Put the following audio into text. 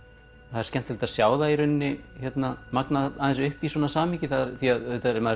það er skemmtilegt að sjá það magnað upp í svona samhengi auðvitað er maður